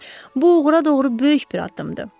Bu uğura doğru böyük bir addımdır.